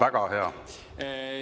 Väga hea!